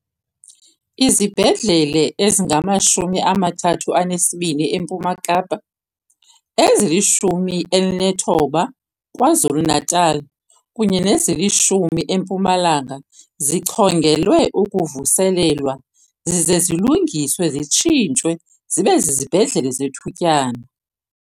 Izibhedlele ezingama-32 eMpuma Kapa, ezili-19 Kwa-Zulu Natala kunye nezili-10 eMpumalanga zichongelwe ukuvuselelwa zize zilungiswe zitshintshwe zibe zizibhedlele zethutyana.